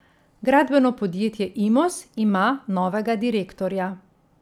Gradbeno podjetje Imos ima novega direktorja.